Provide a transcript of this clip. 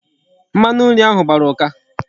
Mmanu nri ahu gbara uka